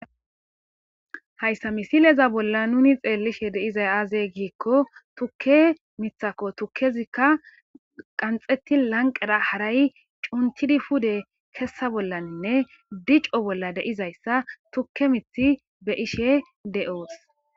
Hayssa misileza bolla nuuni xeellishee de7izay aazee giikko tukke miththakoo; thukkezikka qanxxeththi lanqqera haray cunchchidi kessa bollanne dico bolla de7izayssa thukke mithti be7ishee de7oos.